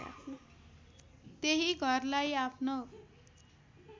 त्यही घरलाई आफ्नो